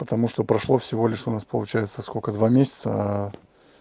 потому что прошло всего лишь у нас получается сколько два месяца